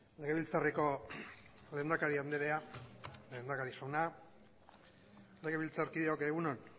legebiltzarreko lehendakari andrea lehendakari jauna legebiltzarkideok egun on